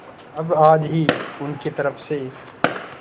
अब आज ही उनकी तरफ से